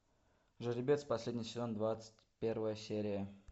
жеребец последний сезон двадцать первая серия